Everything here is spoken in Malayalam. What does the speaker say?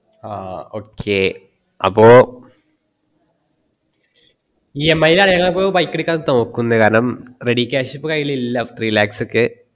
ഹാ okay അപ്പോ EMI ൽ ആയ ഇപ്പം bike എടുക്കാൻ തോക്കുന്നേ ready cash ഇപ്പം കൈയിൽ ഇല്ല three lakhs ഒക്കെ